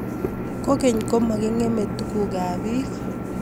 kogeny, komagingeme tugukab biik